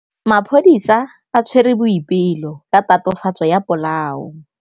Maphodisa a tshwere Boipelo ka tatofatsô ya polaô.